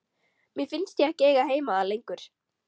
Mér fannst ég ekki eiga heima þar lengur.